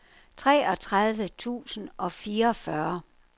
treogtredive tusind og fireogfyrre